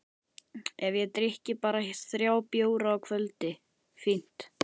Ef ég drykki bara þrjá bjóra á kvöldi, fínt!